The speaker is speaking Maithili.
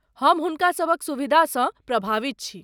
हम हुनका सभक सुविधासँ प्रभावित छी।